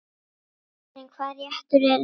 Karen: Hvaða réttur er bestur?